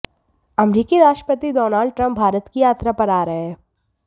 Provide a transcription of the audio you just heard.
अमेरिकी राष्ट्रपति Donald Trump भारत की यात्रा पर आ रहे हैं